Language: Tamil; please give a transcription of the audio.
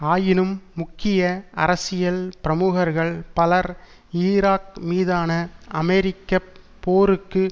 ஆயினும் முக்கிய அரசியல் பிரமுகர்கள் பலர் ஈராக் மீதான அமெரிக்க போருக்கு